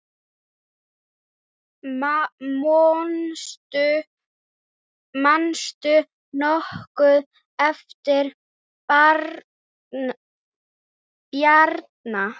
Manstu nokkuð eftir Bjarna?